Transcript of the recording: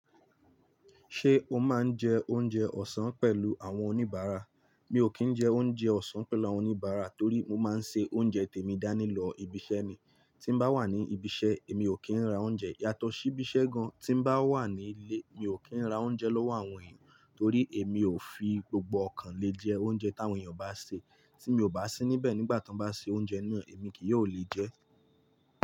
Ṣé o máa ń jẹ oúnjẹ ọ̀sán pẹ̀lú àwọn oníbàárà? Mi ò kí ń jẹ oúnjẹ ọ̀sán pẹ̀lú àwọn oníbàárà torí mo máa ń se oúnjẹ tèmi dání lọ ibi iṣẹ́ ni. Tí n bá wà ní ibi iṣẹ́, èmi ò kí ń ra oúnjẹ yàtọ̀ sí ibi iṣẹ́ gan. Tí n bá wà nílé, mi ò kí ń ra oúnjẹ lọ́wọ́ àwọn èèyàn torí èmi ò fi gbogbo ọkàn mi jẹ oúnjẹ táwọn èèyàn bá sè. Tí mi ò bá sí níbẹ̀ nígbà tí wọ́n bá ṣe oúnjẹ náà, èmi kì yi ò lè jẹ ẹ́.